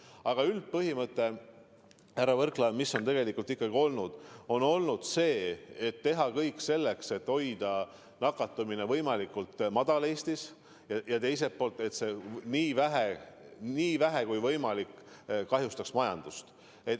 Aga üldpõhimõte, härra Võrklaev, on tegelikult ikkagi olnud see: tuleb teha kõik selleks, et hoida Eestis nakatumine võimalikult madalal tasemel ja teisalt vaadata, et see nii vähe kui võimalik kahjustaks majandust.